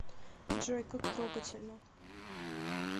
джой как трогательно